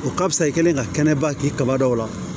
O ka fisa i kɛlen ka kɛnɛba k'i kaba dɔw la